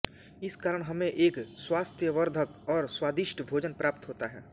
इस कारण हमें एक स्वास्थ्यवर्धक और स्वादिष्ट भोजन प्राप्त होता है